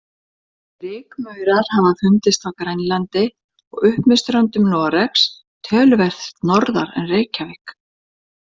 Rykmaurar hafa fundist á Grænlandi og upp með ströndum Noregs, töluvert norðar en Reykjavík.